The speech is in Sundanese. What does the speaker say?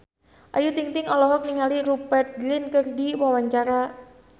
Ayu Ting-ting olohok ningali Rupert Grin keur diwawancara